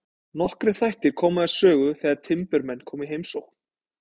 Nokkrir þættir koma við sögu þegar timburmenn koma í heimsókn.